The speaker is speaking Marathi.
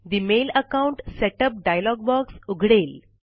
ठे mail account setup dialog box उघडेल